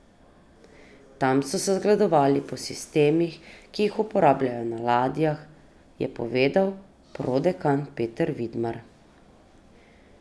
Tam so se zgledovali po sistemih, ki jih uporabljajo na ladjah, je povedal prodekan Peter Vidmar.